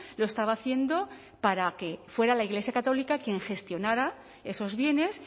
lo estaba haciendo para que fuera la iglesia católica quien gestionara esos bienes